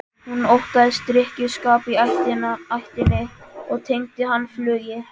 Hún óttaðist drykkjuskap í ættinni og tengdi hann flugi.